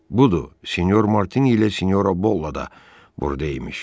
Budur, Sinyor Martini ilə Sinyora Bolla da burda imiş.